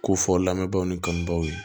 Ko fɔ lamɛnbaw ni kanbaw ye